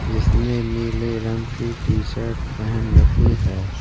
जिसने नीले रंग की टीशर्ट पहन रखी है।